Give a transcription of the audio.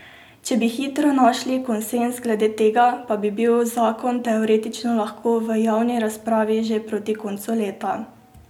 Če bi hitro našli konsenz glede tega, pa bi bil zakon teoretično lahko v javni razpravi že proti koncu leta.